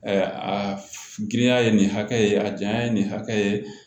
a girinya ye nin hakɛ ye a janya ye nin hakɛ ye